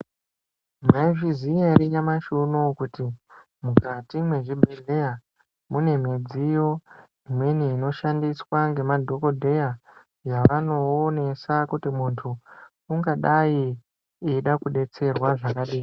Maizviziya ere nyamashi unou kuti mukati mezvibhedhlera mune midziyo imweni inoshandiswa ngemadhokodheya yavanoonesa kuti muntu ungadai eida kudetserwa zvakadini.